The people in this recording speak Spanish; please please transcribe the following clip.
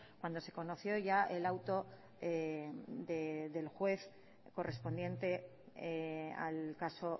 cuando se conoció ya el auto del juez correspondiente al caso